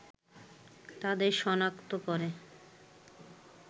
তাদের সনাক্ত করে